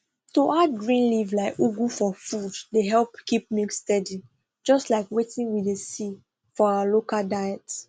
to add green leaf like ugu for food dey help keep milk steady just like wetin we dey see for our local diet